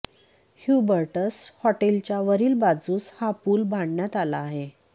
Hubertus हॉटेलच्या वरील बाजुस हा पूल बांधण्यात आला आहे